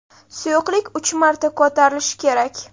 Suyuqlik uch marta ko‘tarilishi kerak.